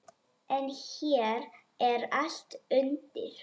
En hér er allt undir.